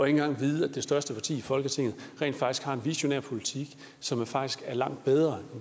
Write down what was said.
engang vide at det største parti i folketinget rent faktisk har en visionær politik som faktisk er langt bedre